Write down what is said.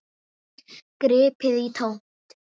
Gripið í tómt.